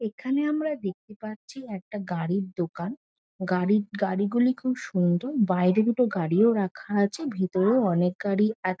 এখানে আমরা দেখতে পাচ্ছি একটা গাড়ির দোকান। গাড়ি গাড়ি গুলি খুব সুন্দর। বাইরে দুটো গাড়িও রাখা আছে ভেতরে অনেক গাড়ি আ--